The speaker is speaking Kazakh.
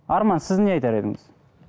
арман сіз не айтар едіңіз